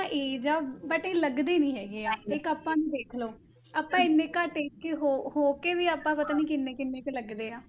Age ਆ but ਇਹ ਲੱਗਦੇ ਨੀ ਹੈਗੇ ਇੱਕ ਆਪਾਂ ਨੂੰ ਦੇਖ ਲਓ, ਆਪਾਂ ਇੰਨੇ ਘੱਟ ਕੇੇ ਹੋ ਹੋ ਕੇ ਵੀ ਆਪਾਂ ਪਤਾ ਨੀ ਕਿੰਨੇ ਕਿੰਨੇ ਕੁ ਲੱਗਦੇ ਹਾਂ,